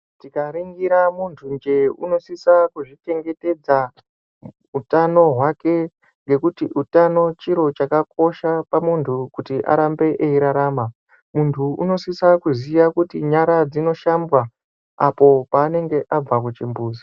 Tikaningira muntu njee unosise kuzvichengetedza utano hwake ngekuti utano chiro chakakosha pamuntu kuti arambe eyirarama. Muntu unosise kuziya kuti nyara dzinoshambwa apo paanenge Abba kuchimbuzi.